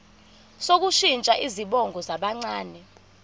sokushintsha izibongo zabancane